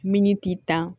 Miniti tan